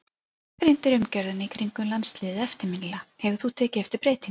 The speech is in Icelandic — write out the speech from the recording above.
Þú gagnrýndir umgjörðina í kringum landsliðið eftirminnilega, hefur þú tekið eftir breytingum?